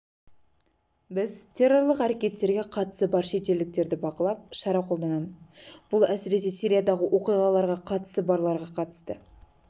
біз террорлық әрекеттерге қатысы бар шетелдіктерді бақылап шара қолданамыз бұл әсіресе сириядағы оқиғаларға қатысы барларға қатысты